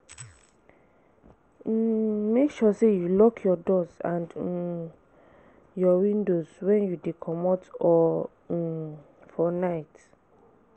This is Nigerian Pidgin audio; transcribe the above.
um Make sure say you lock your doors and um windows when you de comot or um for night